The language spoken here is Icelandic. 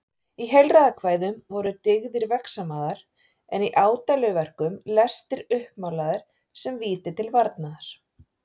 Í heilræðakvæðum voru dyggðir vegsamaðar en í ádeiluverkum lestir uppmálaðir sem víti til varnaðar.